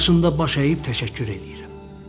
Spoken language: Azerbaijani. Qarşında baş əyib təşəkkür eləyirəm.